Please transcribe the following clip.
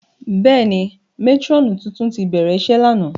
Bẹ́ẹ̀ni, matirọnu tuntun ti bẹrẹ iṣe làná.